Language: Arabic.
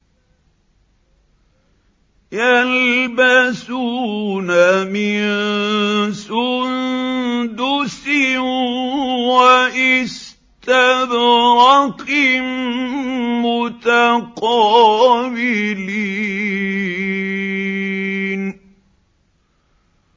يَلْبَسُونَ مِن سُندُسٍ وَإِسْتَبْرَقٍ مُّتَقَابِلِينَ